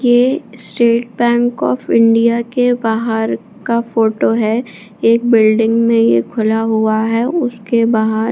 ये State Bank of India के बाहर का फोटो है एक बिल्डिंग में ये खुला हुआ है उसके बाहर --